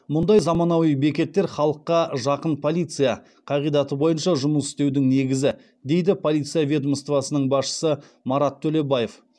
мұндай заманауи бекеттер халыққа жақын полиция қағидаты бойынша жұмыс істеудің негізі дейді полиция ведомствосының басшысы марат төлебаев